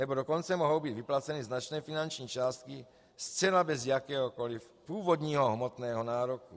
Nebo dokonce mohou být vyplaceny značné finanční částky zcela bez jakéhokoli původního hmotného nároku.